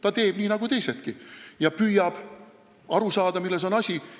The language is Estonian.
Ta teeb nii nagu teisedki ja püüab aru saada, milles asi on.